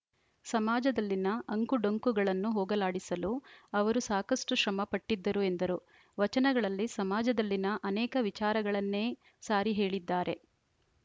ಸಮಾಜದಲ್ಲಿನ ಅಂಕುಡೊಂಕುಗಳನ್ನು ಹೋಗಲಾಡಿಸಲು ಅವರು ಸಾಕಷ್ಟುಶ್ರಮ ಪಟ್ಟಿದ್ದರು ಎಂದರು ವಚನಗಳಲ್ಲಿ ಸಮಾಜದಲ್ಲಿನ ಅನೇಕ ವಿಚಾರಗಳನ್ನೇ ಸಾರಿ ಹೇಳಿದ್ದಾರೆ